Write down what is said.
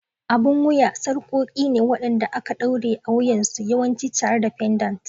Abun wuya sarƙoƙi ne waɗanda aka ɗaure a wuyansu, yawanci tare da pendants.